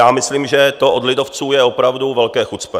Já myslím, že to od lidovců je opravdu velké chucpe.